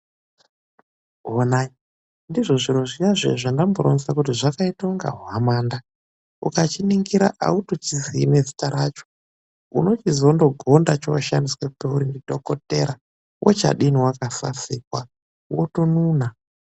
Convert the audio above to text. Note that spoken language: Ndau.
Wonai, ndizvo zviro zviya-zviya, zvandamboronza kuti zvakaita unga hwamanda. Ukachiningira autochizii nezita racho. Unochizondogonda chooshandiswa peuri ndidhokothera. Wochadini wakasasikwa, wotonuna.